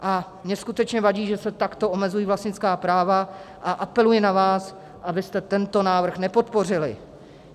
A mně skutečně vadí, že se takto omezují vlastnická práva, a apeluji na vás, abyste tento návrh nepodpořili.